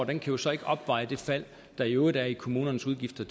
kan jo så ikke opveje det fald der i øvrigt er i kommunernes udgifter